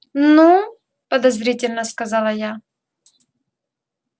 ну подозрительно сказала я